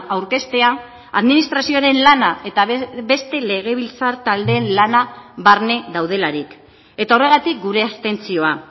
aurkeztea administrazioaren lana eta beste legebiltzar taldeen lana barne daudelarik eta horregatik gure abstentzioa